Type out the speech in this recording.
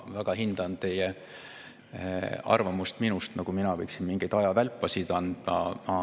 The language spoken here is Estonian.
Ma väga hindan teie arvamust minust, nagu mina võiksin mingeid ajavälpasid anda.